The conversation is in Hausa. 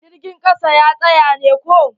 Jirgin ƙasa ya tsaya ne ko?